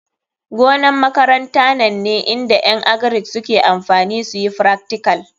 Gonan makaranta nan ne inda en agric suke amfani suyi fractical.